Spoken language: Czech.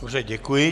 Dobře, děkuji.